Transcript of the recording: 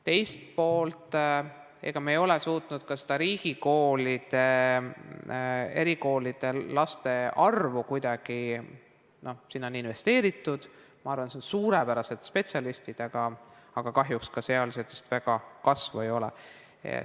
Teiselt poolt, me ei ole suutnud riigi erikoolides laste arvu kuidagi, sinna on investeeritud, ma arvan, seal on suurepärased spetsialistid, aga kahjuks ka seal kasvu väga ei ole.